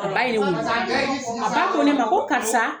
A ba ye ne wele, a ba ko ne ma ko karisa